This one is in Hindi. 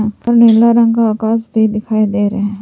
ऊपर नीला रंग का आकाश भी दिखाई दे रहा है।